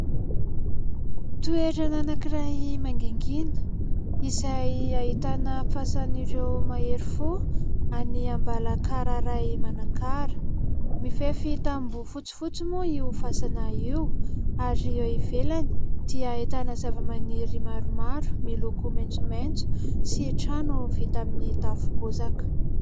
Toerana anankiray mangingina izay ahitana fasan'ireo mahery fo any Ambalakararay Manakara. Mifefy taboho fotsifotsy moa io fasana io ary eo ivelany dia ahitana zavamaniry maromaro miloko maitsomaitso sy trano vita amin'ny tafo bozaka.